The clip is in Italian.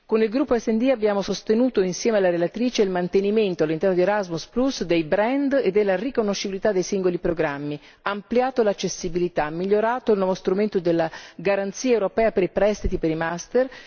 Con il gruppo SD abbiamo sostenuto, insieme alla relatrice, il mantenimento, all'interno di Erasmus, dei brand e della riconoscibilità dei singoli programmi, ampliato l'accessibilità, migliorato il nuovo strumento della garanzia europea per i prestiti per i master